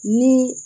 Ni